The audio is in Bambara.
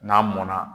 N'a mɔnna